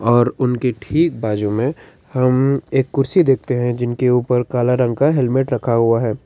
और उनके ठीक बाजू में हमें कुर्सी देखते हैं जिनके ऊपर एक काला रंग का हेलमेट रखा हुआ है।